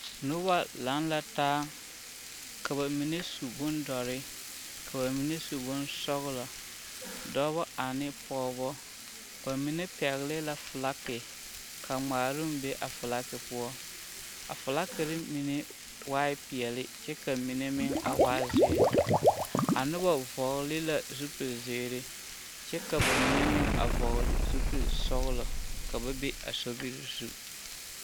Noba laŋ la taa ka bamine su bondɔre ka bamine su bonsɔgelɔ, dɔbɔ ane pɔgebɔ, bamine pɛgele la felaki ka ŋmaaroŋ be a felaki poɔ a felakiri mine waa peɛle kyɛ ka mine meŋ a waa zeere, a nobɔ vɔgele la zupili zeere kyɛ ka bamine meŋ vɔgele zupili sɔgelɔ ka ba be a sobiri zu.